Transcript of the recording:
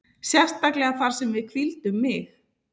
Sérstaklega þar sem að við hvíldum mig.